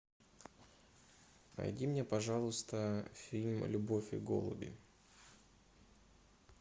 найди мне пожалуйста фильм любовь и голуби